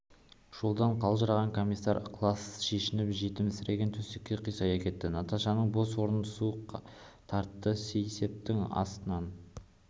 жолдан қалжыраған комиссар ықылассыз шешініп жетімсіреген төсекке қисая кетті наташаның бос орны суық тартты сейсептің астынан